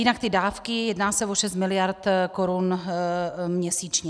Jinak ty dávky, jedná se o 6 miliard korun měsíčně.